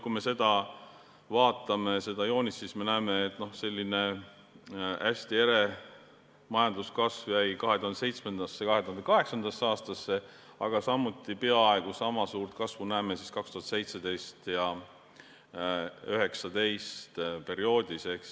Kui me vaatame seda joonist, siis me näeme, et hästi ere majanduskasv jäi 2007.–2008. aastasse, aga samuti peaaegu niisama suurt kasvu näeme perioodil 2017– 2019.